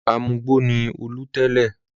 Amugbó ni Olú tẹ́lẹ̀.